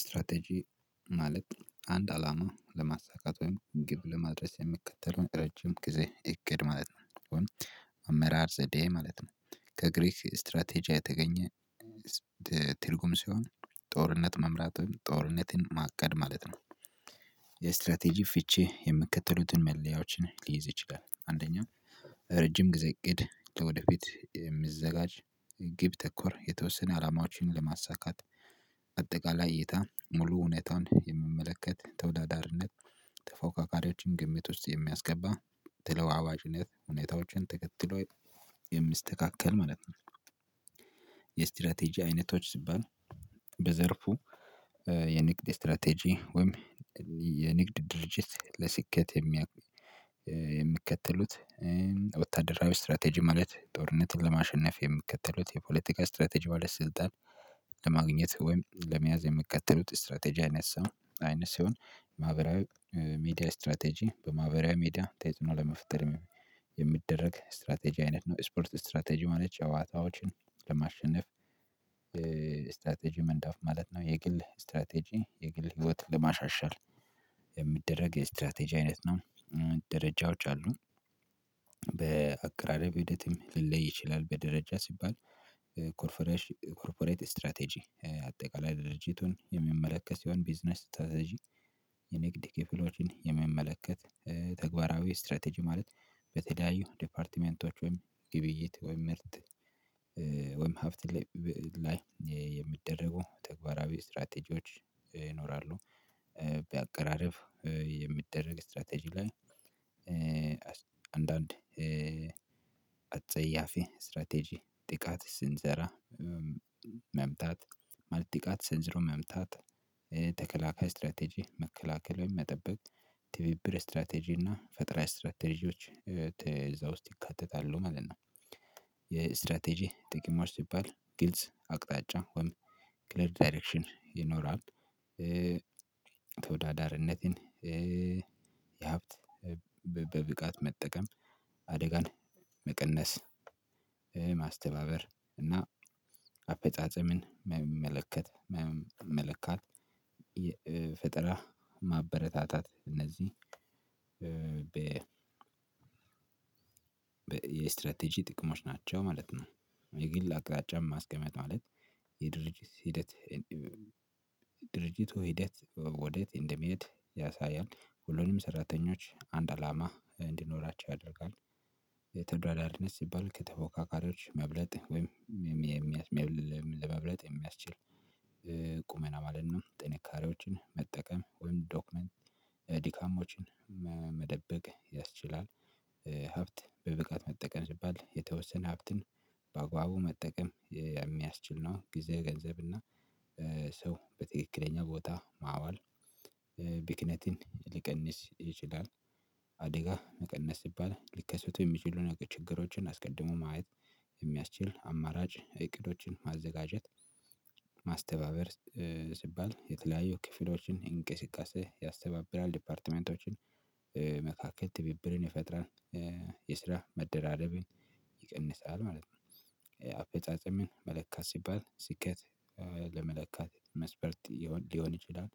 ስትራቴጂ ማለት አንድ አላማ ለማሳካት ወይም ግብ ለማድረስ የሚከተለውን ረጅም ጊዜ እቅድ ማለት ነው። አመራር ዘዴ ማለት ነው። ከግሪክ ስትራቴጂያ የተገኘ ትርጉም ሲሆን ጦርነት መምራትን ጦርነትን ማቀድ ማለት ነው። ፍቺ የምከተሉትን መለያዎችን ሊይዝ ይችላል አንደኛ ረጅም ጊዜ እቅድ የሚዘጋጅ ግብ ተኮር የተወሰነ አላማዎችን ለማሳካት አጠቃላይ እይታ ሙሉ እውነታውን የምመለከት ተወዳዳሪነት ተፎካካሪዎችን ግምት ውስጥ የሚያስገባ ተለዋዋጭነት ሁኔታዎችን ተከትሎ የሚስተካከል ማለት ነው። የስትራቴጂ አይነቶች ሲባል በዘርፉ የንግድ ስትራቴጂ ወይም የንግድ ድርጅት ለስኬት የሚከተሉት ወታደራዊ ስትራቴጂ ማለት ጦርነትን ለማሸነፍ የሚከተሉት የፖለቲካ ስትራቴጂ ባለስልጣን ለማግኘት ወይም ለመያዝ የምከተሉት ስትራቴጂ አይነት ሲሆን ማህበራዊ ሚድያ ስትራቴጂ በማህበራዊ ሚድያ ተጽኖ ለመፍጠር የሚደረግ ስትራቴጂ አይነት ነው። ስፖርት ስትራቴጂ ማለት ጨዋታዎችን ለማሸነፍ ስትራቴጂ መንዳፍ ማለት ነው። የግል ስትራቴጂ የግል ህይወት ለማሻሻል ስትራቴጂ አይነት ነው። ደረጃዎች አሉ በአቅራራ ልለይ ይችላል በደረጃ ሲባል ኮርፖሬት ስትራቴጂ አጠቃላይ ድርጅቱን የምመለከት ሲሆን ቢዝነስ ስትራቴጂ የንግድ ኬፕሎጂን የሚመለከት ተግባራዊ ስትራቴጂ ማለት በተለያዩ ዲፓርትመንቶች ወይም ግብይት ወይም ምርት ወይም ሀብት ላይ የሚደረጉ ተግባራዊ ስትራቴጂዎች ይኖራሉ። በአቀራረብ የሚደረግ ስትራቴጂ ላይ አንዳንድ አጸያፊ ስትራቴጂ ጥቃት ስንዘራ መምታት ማለት ጥቃት ስንዝረው መምታት ተከላካይ ስትራቴጂ መከላከል መጠበቅ ትብብር ስትራቴጂ እና ፈጠራ ስትራቴጂዎች እዛ ውስጥ ይካተታሉ ማለት ነው። የስትራቴጂ ጥቅሞች ሲባል ጊልጽ አቅጣጫ ወይም ክሊር ዳይሬክሽን ይኖራል። ተወዳዳሪነትን የሀብት በብቃት መጠቀም አደጋን መቀነስ ማስተባበር እና አፈጻጸምን የመመለከት መመለካት ፍጠራ ማበረታታት እነዚህ በ የስትራቴጂ ጥቅሞች ናቸው ማለት ነው። የግል አቅጣጫ ማስቀመጥ ማለት የድርጅት ሂደት ድርጅቱ ሂደት ወደት እንደሚሄድ ያሳያል ሁሉንም ሰራተኞች አንድ አላማ እንዲኖራቸው ያደርጋል። የተወዳዳሪነት ሲባል ከተፎካካሪዎች መብለጥ ወይም ለመብለጥ የሚያስችል ቁመና ማለት ነው። ጥንካሬዎችን መጠቀም ወይም ዶክመንት ዲካሞችን መደበቅ ያስችላል። ሀብት በብቃት መጠቀም ስባል የተወሰነ ሀብትን በአግባቡ መጠቀም የሚያስችል ነው። ጊዜ ገንዘብ እና ሰው በትክክለኛ ቦታ ማዋል ቢክነትን ሊቀንስ ይችላል። አደጋ መቀነስ ሲባል ልከሰቱ የሚችሉ ነገር ችግሮችን አስቀድሞ ማየት የሚያስችል አማራጭ እቅዶችን ማዘጋጀት ማስተባበር ሲባል የተለያዩ ክፍሎችን እንቅስቃሴ ያስተባብራል ዲፓርትመንቶችን መካከል ትቢብርን ይፈጠራል። የስራ መደራደብን ይቀንሳል ማለት ነው። አፈጻጸምን መለካት ሲባል ስኬት ለመለካት መስፈርት ሊሆን ይችላል